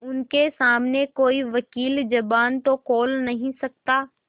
उनके सामने कोई वकील जबान तो खोल नहीं सकता